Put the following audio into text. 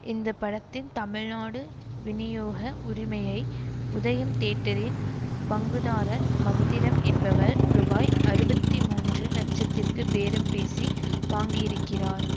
இந்த படத்தின் தமிழ்நாடு வினியோக உரிமையை உதயம் தியேட்டரின் பங்குதாரர் மந்திரம் என்பவர் ரூபாய் அறுபத்தி மூன்று லட்சத்திற்கு பேரம்பேசி வாங்கியிருக்கிறார்